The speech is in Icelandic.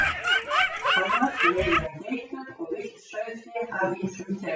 Annars veiðir hann geitur og villt sauðfé af ýmsum tegundum.